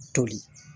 Toli